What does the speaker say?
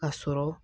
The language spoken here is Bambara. A sɔrɔ